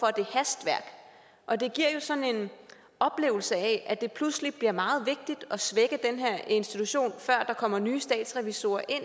er det hastværk og det giver jo sådan en oplevelse af at det pludselig bliver meget vigtigt at svække den her institution før der kommer nye statsrevisorer ind